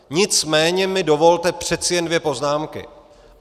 Nicméně mi dovolte přece jen dvě poznámky.